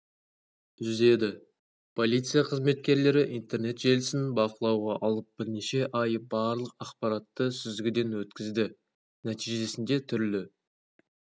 үзеді полиция қызметкерлері интернет желісін бақылауға алып бірнеше ай барлық ақпаратты сүзгіден өткізді нәтижесінде түрлі